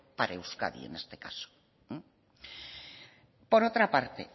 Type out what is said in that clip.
para euskadi en este caso por otra parte